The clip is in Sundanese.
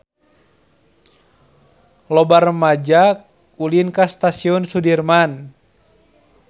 Loba rumaja ulin ka Stasiun Sudirman